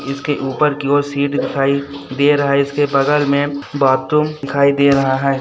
इसके ऊपर कि ओर शीट दिखाई दे रहा है इसके बगल में बाथरूम दिखाई दे रहा है।